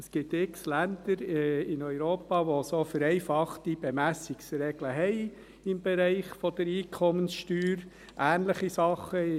Es gibt in Europa x Länder, welche solche vereinfachten Bemessungsregeln im Bereich der Einkommenssteuer und ähnliche Dinge haben.